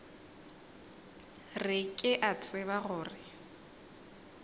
re ke a tseba gore